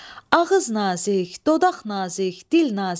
Ağız nazik, dodaq nazik, dil nazik.